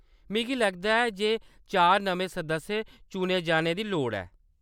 मिगी लगदा ऐ जे चार नमें सदस्य चुने जाने दी लोड़ ऐ।